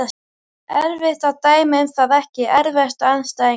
Erfitt að dæma um það Ekki erfiðasti andstæðingur?